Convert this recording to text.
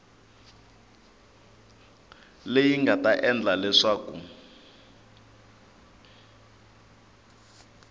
leyi nga ta endla leswaku